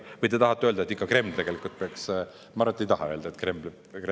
Või te tahate öelda, et ikka Kreml peaks otsuseid tegema?